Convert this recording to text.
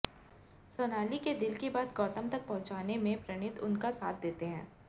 सोनाली के दिल की बात गौतम तक पहुंचाने में प्रणीत उनका साथ देते हैं